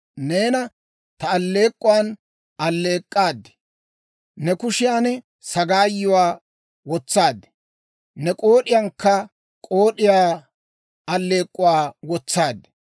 Neena ta alleek'k'uwan alleek'k'aad; ne kushiyan sagaayuwaa wotsaad; ne k'ood'iyankka k'ood'iyaa aleek'k'uwaa wotsaad.